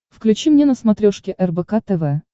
включи мне на смотрешке рбк тв